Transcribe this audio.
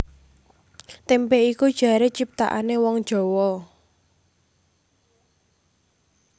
Témpé iku jaré ciptanané wong Jawa